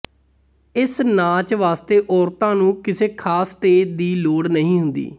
ਇਸ ਨਾਚ ਵਾਸਤੇ ਔਰਤਾਂ ਨੂੰ ਕਿਸੇ ਖਾਸ ਸਟੇਜ ਦੀ ਲੋੜ ਨਹੀਂ ਹੁੰਦੀ